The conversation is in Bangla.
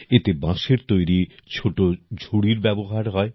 এতে বাঁশের তৈরি ছোট ঝুড়ির ব্যবহার হয়